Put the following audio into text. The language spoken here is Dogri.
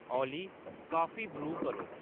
ओली कॉफी ब्रू करो